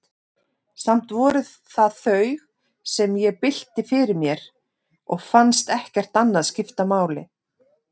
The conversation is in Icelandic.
Samt voru það þau, sem ég bylti fyrir mér, og fannst ekkert annað skipta máli.